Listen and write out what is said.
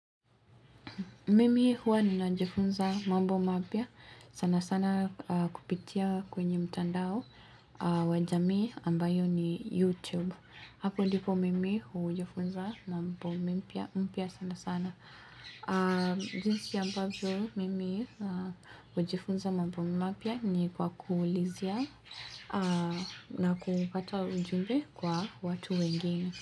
Mimi huwa ninajifunza mambo mapya sana sana kupitia kwenye mtandao wajamii ambayo ni YouTube. Hapo ndipo mimi hujifunza mambo mpya sana sana. Zinsi ambavyo mimi hujifunza mambo mapya ni kwa kuulizia na kupata ujumbe kwa watu wengine.